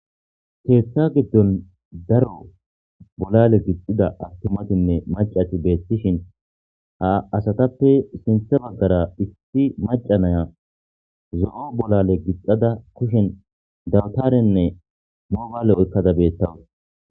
Ketha gidon daro bolale gixida atumatinne mac'ati betishin ha asatappe sintha bagara issi mac'a nayiya zo,o bolale gixada kushen dabtarenne mobayile oyiqada betawus